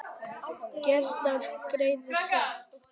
Gert að greiða sekt?